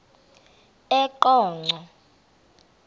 eqonco